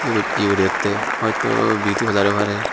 ebod eyorette hoitobeauty parlour oi pare.